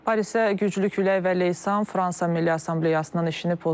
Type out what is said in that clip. Parisə güclü külək və leysan Fransa Milli Assambleyasının işini pozub.